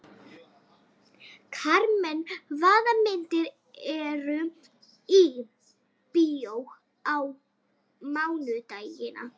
Karmen, hvaða myndir eru í bíó á mánudaginn?